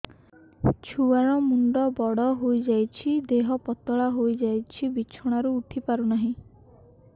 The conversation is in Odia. ଛୁଆ ର ମୁଣ୍ଡ ବଡ ହୋଇଯାଉଛି ଦେହ ପତଳା ହୋଇଯାଉଛି ବିଛଣାରୁ ଉଠି ପାରୁନାହିଁ